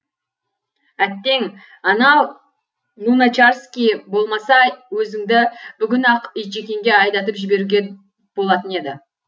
әттең ана луначарский болмаса өзіңді бүгін ақ итжеккенге айдатып жіберуге болатын еді